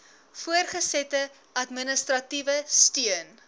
voortgesette administratiewe steun